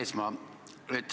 Härra Eesmaa!